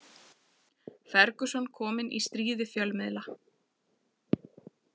Ferguson kominn í stríð við fjölmiðla